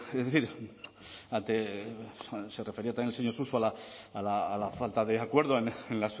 es decir ante se refería también el señor suso a la falta de acuerdo en